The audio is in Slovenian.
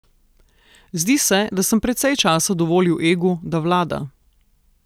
Zdi se, da sem precej časa dovolil egu, da vlada.